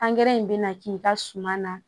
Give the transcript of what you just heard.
Angɛrɛ in bɛna k'i ka suman na